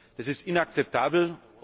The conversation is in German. Das ist inakzeptabel.